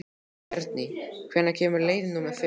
Bjarný, hvenær kemur leið númer fimm?